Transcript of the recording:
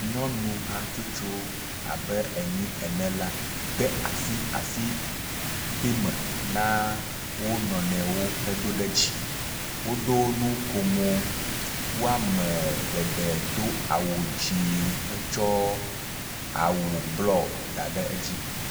Nyɔnu hatsotso abe enyi ene la de asi asiteme na wo nɔnɔewo he do ɖe dzi, woɖo nu ko me eye wome geɖe do wu dzi hetsɔ awu blɔ da ɖe edzi